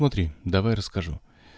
смотри давай расскажу